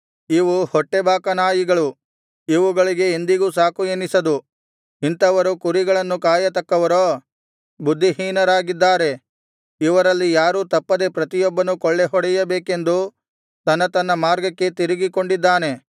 ಇವು ಹೊಟ್ಟೆಬಾಕ ನಾಯಿಗಳು ಇವುಗಳಿಗೆ ಎಂದಿಗೂ ಸಾಕು ಎನಿಸದು ಇಂಥವರು ಕುರಿಗಳನ್ನು ಕಾಯತಕ್ಕವರೋ ಬುದ್ಧಿಹೀನರಾಗಿದ್ದಾರೆ ಇವರಲ್ಲಿ ಯಾರೂ ತಪ್ಪದೆ ಪ್ರತಿಯೊಬ್ಬನೂ ಕೊಳ್ಳೆಹೊಡೆಯಬೇಕೆಂದು ತನ್ನ ತನ್ನ ಮಾರ್ಗಕ್ಕೆ ತಿರುಗಿಕೊಂಡಿದ್ದಾನೆ